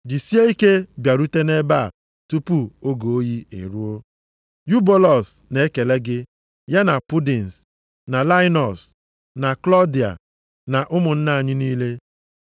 Jisie ike bịarute nʼebe a tupu oge oyi eruo. Yubulọs na-ekele gị, ya na Pudins, na Lainọs na Klọdia na ụmụnna anyị niile.